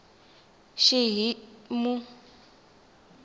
xihimu